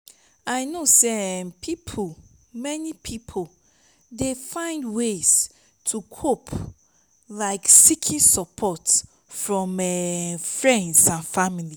i know say um many people dey find ways to cope like seeking support from um friends and family.